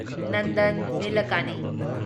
Nandan ꯅꯤꯂꯦꯀꯥꯅꯤ